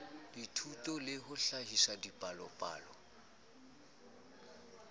dithuso le ho hlahisa dipalopalo